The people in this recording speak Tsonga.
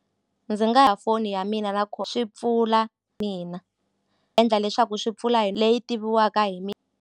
Ndzi nga ha foni ya mina na swi pfula mina endla leswaku swi pfula hi leyi tiviwaka hi .